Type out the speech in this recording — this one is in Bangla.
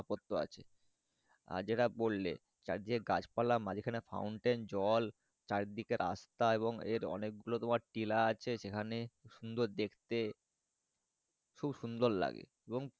সত্য আছে আর যে টা বললে চারদিকে গাছ পালা মাঝখানে Fountain জল চারি দিকে রাস্তা এবং এর অনেক গুলো তোমার টিলা আছে সেকানে সুন্দর দেখতে খুব সুন্দর লাগে। এবং।